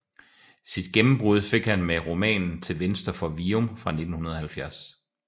Sit gennembrud fik han med romanen Til venstre for Virum fra 1970